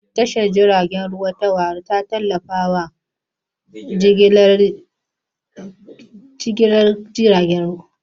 Tashar jiragen ruwa ta Warri ta tallafa wa jigilar kayayyaki da kasuwanci a yankin Neja Delta.